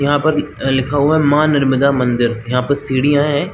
यहाँ पर अ लिखा हुआ है माँ नर्मदा मंदिर यहाँ पर सीढियाँ हैं।